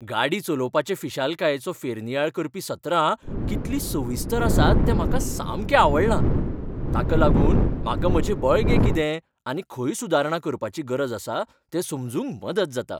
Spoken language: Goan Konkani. गाडी चलोवपाचे फिशालकायेचो फेरनियाळ करपी सत्रां कितलीं सविस्तर आसात तें म्हाका सामकें आवडलां, ताका लागून म्हाका म्हजें बळगें कितें आनी खंय सुदारणा करपाची गरज आसा तें समजूंक मदत जाता.